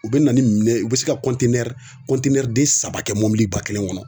U bɛ na ni minɛn ye u bɛ se ka den saba kɛ mobiliba kelen kɔnɔ